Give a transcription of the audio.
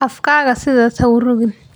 Afkaaga sidaas ha u ruugin.